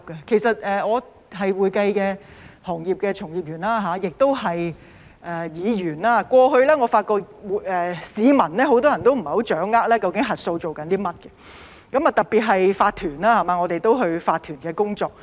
我是會計行業的從業員也是議員，過去我發覺很多市民不太掌握究竟核數在做甚麼，特別是法團，我們都有做法團的工作。